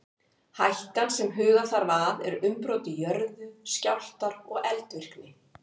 Hættan sem huga þarf að er umbrot í jörðu, skjálftar og eldvirkni.